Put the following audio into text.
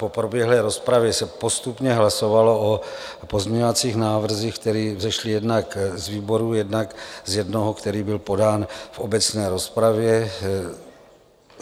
Po proběhlé rozpravě se postupně hlasovalo o pozměňovacích návrzích, které vzešly jednak z výborů, jednak z jednoho, který byl podán v obecné rozpravě.